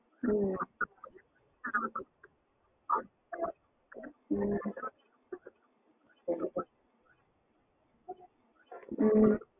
ம்ம் ம்ம் ம்ம்